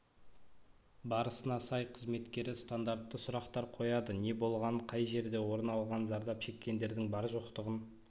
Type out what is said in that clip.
барысына сай қызметкері стандартты сұрақтар қояды не болғанын қай жерде орын алғанын зардап шеккендердің бар-жоқтығын